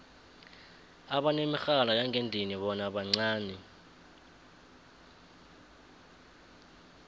abanemirhala yangendlini bona bancani